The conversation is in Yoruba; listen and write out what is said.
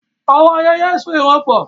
Àwọn ayẹyẹ so ìran pọ̀.